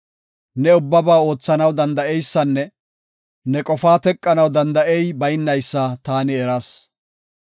“Ne ubbaba oothanaw danda7eysanne ne qofaa teqanaw danda7ey baynaysa taani eras.